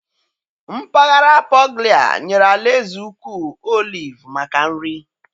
Mpaghara Puglia nyere alaeze ukwu oliv maka nri.